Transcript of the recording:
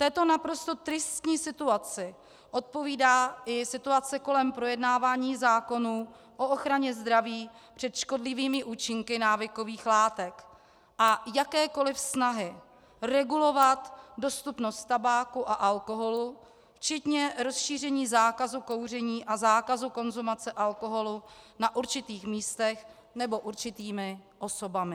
Této naprosto tristní situaci odpovídá i situace kolem projednávání zákonů o ochraně zdraví před škodlivými účinky návykových látek a jakékoliv snahy regulovat dostupnost tabáku a alkoholu včetně rozšíření zákazu kouření a zákazu konzumace alkoholu na určitých místech nebo určitými osobami.